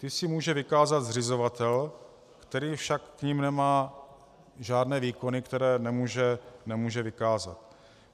Ty si může vykázat zřizovatel, který však k nim nemá žádné výkony, které nemůže vykázat.